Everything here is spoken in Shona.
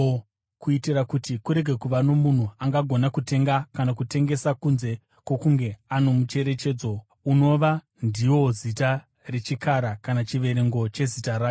kuitira kuti kurege kuva nomunhu angagona kutenga kana kutengesa kunze kwokunge ano mucherechedzo, unova ndiwo zita rechikara kana chiverengo chezita racho.